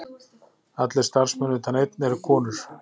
Allir starfsmenn utan einn eru konur